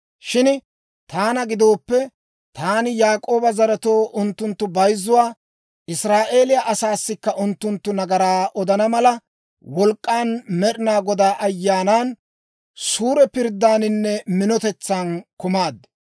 Shin taana gidooppe, taani Yaak'ooba zaretoo unttuntta bayzzuwaa, Israa'eeliyaa asaassikka unttunttu nagaraa odana mala, wolk'k'an, Med'ina Godaa Ayyaanan, suure pirddaaninne minotetsan kumaad.